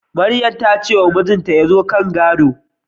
Maryam ta ce wa mijinta ya zo kan gado